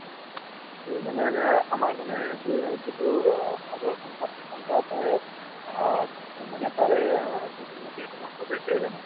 ত' মানে আমাৰ মানে যি যিটো সদৌ অসম ছাত্ৰ সন্থা তাৰে অ মানে তাৰে যিহেতু মই সদস্য এজন হয়